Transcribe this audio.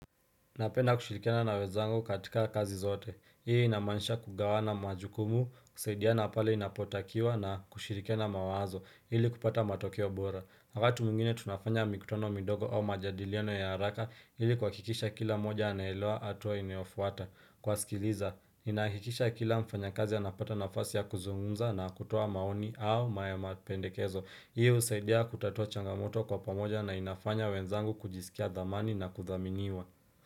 Napenda kushirikiana na wenzangu katika kazi zote. Hii inamanisha kugawana majukumu, kusaidia na pale inapotakiwa na kushirikena mawazo. Hili kupata matokeo bora. Wakati mwingine tunafanya mikutono midogo au majadiliano ya haraka. Hili kwa kikisha kila moja anaheloa hatua ineofuata. Kwa sikiliza, inakikisha kila mfanyakazi anapata nafasi ya kuzungunza na kutua maoni au maya mapendekezo. Hii usaidia kutatua changamoto kwa pamoja na inafanya wenzangu kujisikia dhamani na kuthaminiwa.